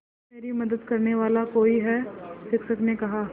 अब मेरी मदद करने वाला कोई है शिक्षक ने कहा